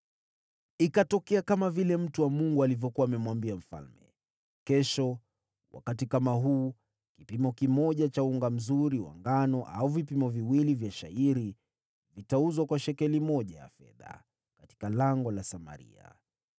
Ikatokea kama vile mtu wa Mungu alivyokuwa amemwambia mfalme: “Wakati kama huu kesho, kipimo kimoja cha unga mzuri kitauzwa kwa shekeli moja ya fedha, na vibaba viwili vya shayiri kwa shekeli moja ya fedha katika lango la Samaria.”